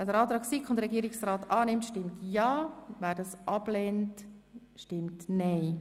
Wer den Antrag SiK und Regierungsrat annimmt, stimmt ja, wer das ablehnt, stimmt nein.